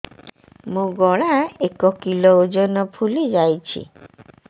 ମୋ ଗଳା ଏକ କିଲୋ ଓଜନ ଫୁଲି ଯାଉଛି